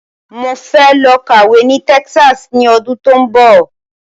Mo fẹ́ lọ kàwé ní Texas ní ọdún tí ó ń bọ̀